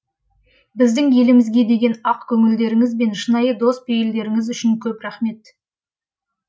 біздің елімізге деген ақ көңілдеріңіз бен шынайы дос пейілдеріңіз үшін көп рахмет